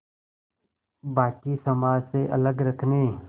बाक़ी समाज से अलग रखने